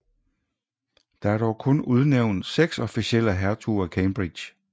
Der er dog kun udnævnt seks officielle hertuger af Cambridge